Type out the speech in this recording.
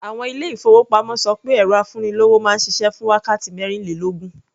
Àwọn ilé-ìfowópamọ́ ṣọ pé ẹ̀rọ afúnilówó máa ń ṣiṣẹ́ fún wákàtí mẹ́rìnlélógún.